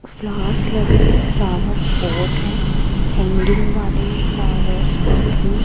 flowers लगे है flowers pot हैं हैंगिंग वाले फ्लावर्स पॉट भी --